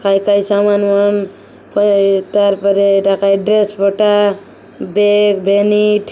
ଖାଇ-ଖାଇ ସାମାନ ଫାମାନ ଫ ଏ ତାର ପରେ ଏଟା ଖାଏ ଡ୍ରେସ୍ ପଟା ବେଗ ଭ୍ୟାନିଟ --